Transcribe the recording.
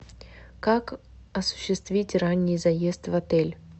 как осуществить ранний заезд в отель